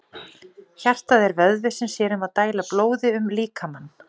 Hjartað er vöðvi sem sér um að dæla blóði um líkamann.